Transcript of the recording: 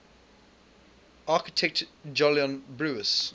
architect jolyon brewis